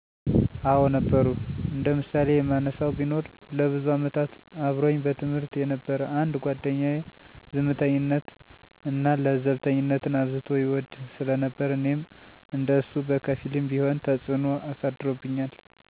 አወ ነበሩ። እንደ ምሳሌ የማነሳው ቢኖር ለብዙ አመታት አብሮኝ በትምህርት የነበረ አንድ ጓደኛየ፤ ዝምተኝነት እና ለዘብተኝነትን አብዝቶ ይወድ ስለነበር እኔም እንደ እሱ በከፊልም ቢሆን ተጽዕኖ አሳድሮብኛል።